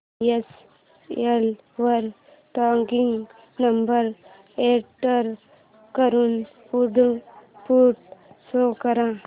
DHL वर tracking number enter करून output show कर